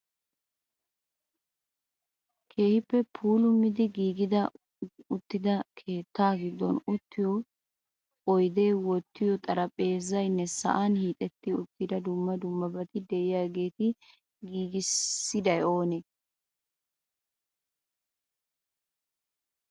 Keehippe puulumidi giigi uttida keetta giddon uttiyo oyde wottiyo xarphpheezaymne sa'an hiixetti uttida dumma dummabati de'iyaageeta giigissiday oomee? Meemi be"aso giigissishin?